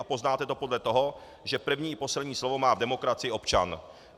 A poznáte to podle toho, že první i poslední slovo má v demokracii občan.